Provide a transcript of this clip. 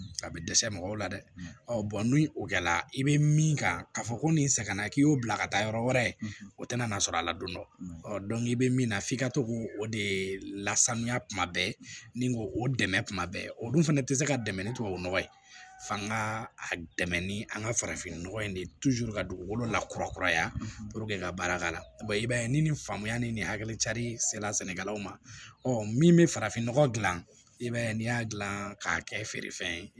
A bɛ dɛsɛ mɔgɔw la dɛ ni o kɛla i bɛ min kan ka fɔ ko nin sɛgɛnna k'i y'o bila ka taa yɔrɔ wɛrɛ o tɛna n'a sɔrɔ a ladonna i bɛ min na f'i ka to k'o o de lasanuya kuma bɛɛ ni k'o o dɛmɛ kuma bɛɛ olu fana tɛ se ka dɛmɛ ni tubabu nɔgɔ ye fa ka dɛmɛ ni an ka farafinnɔgɔ in de ye ka dugukolo lakurakuraya ka baara k'a la i b'a ye ni faamuya ni ni hakili carili sela sɛnɛkɛlaw ma min be farafin nɔgɔ gilan i b'a ye n'i y'a gilan k'a kɛ feere fɛn ye